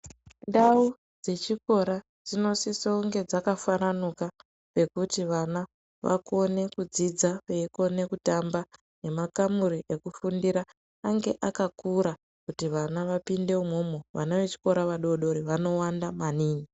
Ndau dzechikora dzinosise kunge dzakafaranuka zvekuti vana vakone kudzidza veikone kutamba nemakamuri ekufundira ange akakura kuti vana vapinde umwomwo vana vechikora vadoodori vanowanda maningi.